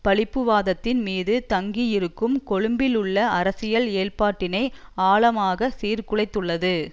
பழிப்புவாதத்தின் மீது தங்கியிருக்கும் கொழும்பிலுள்ள அரசியல் ஏற்பாட்டினை ஆழமாக சீர்குலைத்துள்ளது